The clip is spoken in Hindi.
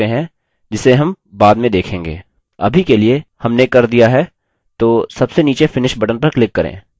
अभी के लिए हमने कर दिया है तो सबसे नीचे finish button पर click करें